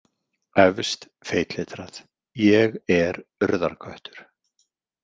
Efst feitletrað: ÉG ER URÐARKÖTTUR.